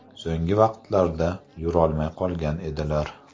So‘nggi vaqtlarda yurolmay qolgan edilar.